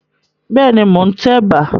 Bẹ́ẹ̀ ni, mò ń tẹ̀bà.